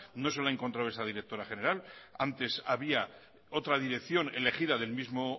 no se lo ha encontrado esa directora general antes había otra dirección elegida del mismo